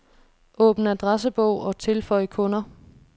Åbn adressebog og tilføj kunder.